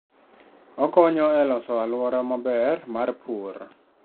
Okonyo e loso alwora maber mar pur.